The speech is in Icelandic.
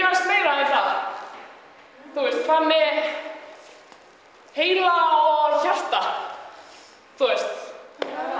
aðeins meira en það hvað með heila og hjarta þú veist